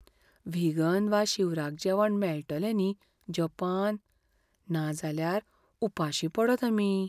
Vegan वा शिवराक जेवण मेळटलें न्ही जपान? नाजाल्यार उपाशीं पडत आमी!